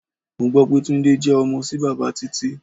Mo gbó pé Túndé jẹ ọmọ sí bàbá Títí.